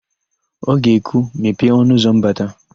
O ga-ekwu, "mepee ọnụụzọ mbata"!